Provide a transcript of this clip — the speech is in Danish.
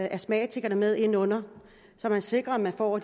astmatikerne med ind under så man sikrer at vi får